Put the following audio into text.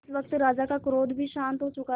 इस वक्त राजा का क्रोध भी शांत हो चुका था